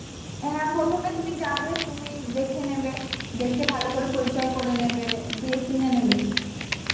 হ্যাঁ প্রথমে তুমি যাবে তুমি দেখে নেবে, দেখে ভালো করে পরিচয় করে নেবে, দিয়ে কিনে নেবে